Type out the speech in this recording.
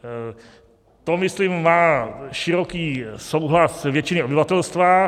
To myslím má široký souhlas většiny obyvatelstva.